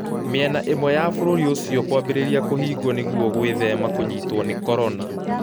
Mĩena ĩmwe ya bũrũri ũcio kwambĩrĩria kũhinguo ninguo gũethema kũnyitwo ni corona